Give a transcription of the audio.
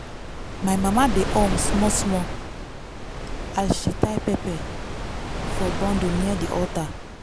my mama dey hum small small as she dey tie pepper for bundle near di altar.